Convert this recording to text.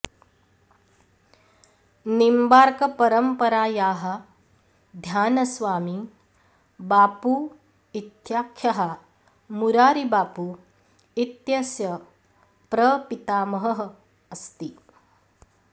निम्बार्क परम्परायाः ध्यानस्वामी बापू इत्याख्यः मारारी बापू इत्यस्य प्रपितामहः अस्ति